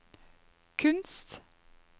kunst